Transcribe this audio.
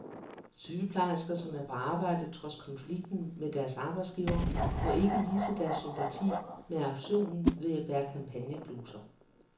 Sygeplejersker, som er på arbejde trods konflikten med deres arbejdsgiver, må ikke vise deres sympati med aktionen ved at bære kampagnebluser.